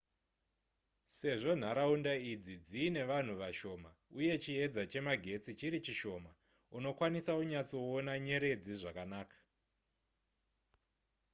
sezvo nharaunda idzi dziine vanhu vashoma uye chiedza chemagetsi chiri chishoma unokwanisa kunyatsoona nyeredzi zvakanaka